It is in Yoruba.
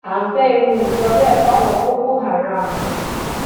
a ń fẹ irú nǹkan bẹẹ fáwọn boko haram